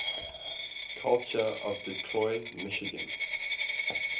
culture of detroit michigan